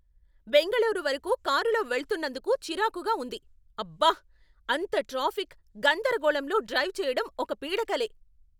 బెంగళూరు వరకు కారులో వెళ్తునందుకు చిరాకుగా ఉంది, అబ్బా! అంత ట్రాఫిక్, గందరగోళంలో డ్రైవ్ చెయ్యడం ఒక పీడకలే!